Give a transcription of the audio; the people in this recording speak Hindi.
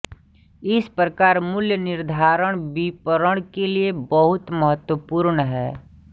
इस प्रकार मूल्यनिर्धारण विपणन के लिए बहुत महत्वपूर्ण है